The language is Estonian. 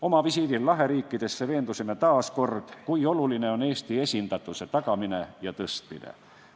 Oma visiidil Laheriikidesse veendusime taas kord, kui oluline on Eesti esindatuse tagamine ja suurendamine.